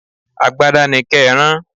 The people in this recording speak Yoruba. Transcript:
Agbada ni ké rán.